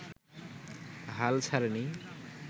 হাল ছাড়েনি